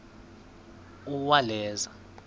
uwaleza